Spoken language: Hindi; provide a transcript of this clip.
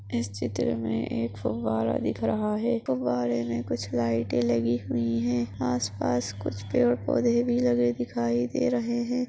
इस चित्र में एक फाैवारा दिख रहा है तो बारे में कुछ लाइट लगी हुई है आसपास कुछ पेड़ और पौधे भी लगे दिखाई दे रहे हैं।